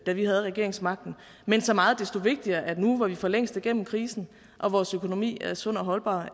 da vi havde regeringsmagten men så meget desto vigtigere er vi nu hvor vi for længst er gennem krisen og vores økonomi er sund og holdbar